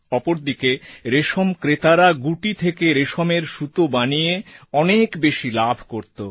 অপরদিকে রেশম ক্রেতারা গুটি থেকে রেশমের সুতো বানিয়ে অনেক বেশি লাভ করত